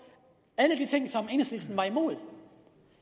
at og